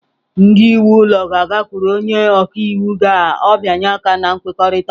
Ndị nwe ụlọ ga-agakwuru onye ọka iwu ka ọ bịanye aka na nkwekọrịta.